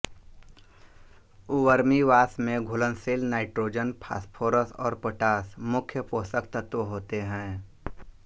vermiwash में घुलनशील nitrogen phosphorus और पोटाश मुख्य पोषक तत्व होते हैं